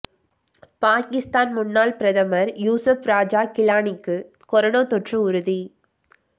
பாகிஸ்தான் முன்னாள் பிரதமர் யூசப் ராஜா கிலானிக்கு கொரோனா தொற்று உறுதி